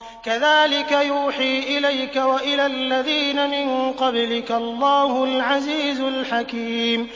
كَذَٰلِكَ يُوحِي إِلَيْكَ وَإِلَى الَّذِينَ مِن قَبْلِكَ اللَّهُ الْعَزِيزُ الْحَكِيمُ